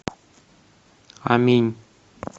аминь